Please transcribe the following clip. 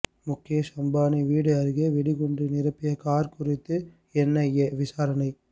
முகேஷ் அம்பானி வீடு அருகே வெடிகுண்டு நிரப்பிய கார் குறித்து என்ஐஏ விசாரணை